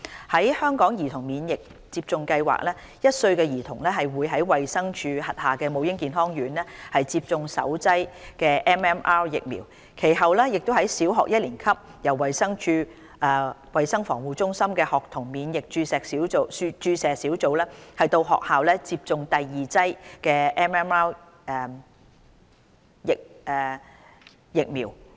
在香港兒童免疫接種計劃下 ，1 歲兒童會在衞生署轄下母嬰健康院接種首劑 MMR 疫苗，其後在小學一年級由衞生署衞生防護中心的學童免疫注射小組到校為他們接種第二劑 MMR 疫苗。